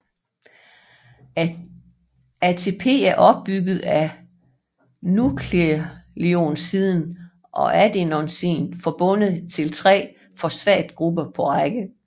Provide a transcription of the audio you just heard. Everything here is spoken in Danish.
ATP er opbygget af nukleosiden adenosin forbundet til tre fosfatgrupper på række